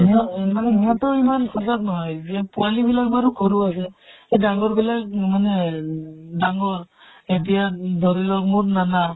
মানে সিহঁতৰ ইমান সজাগ নহয় যিয়ে পোৱালী বিলাক বাৰু সৰু আছে, এই ডাঙ্গৰ বিলাক মানে ডাঙ্গৰ এতিয়া ধৰি লওঁক মোৰ নানা